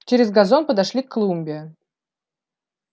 через газон подошли к клумбе